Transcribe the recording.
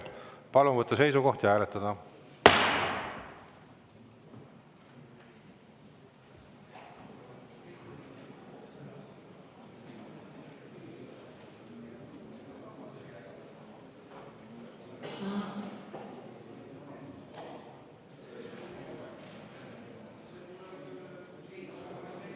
Palun võtta seisukoht ja hääletada!